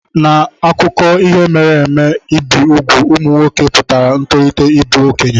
N'akụkọ ihe mere eme, ibi úgwù ụmụ nwoke pụtara ntolite ịbụ okenye.